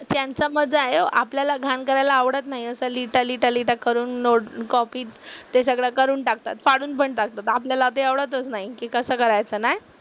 त्यांचा मजा आहे ओ, आपल्याला घाण करायला आवडत नाही असं लिहिता लिहिता लिहिता करून नोट कॉपी ते सगळं करून टाकतात, फाडून पण टाकतात. आपल्याला ते आवडतच नाही की कसं करायचं ना?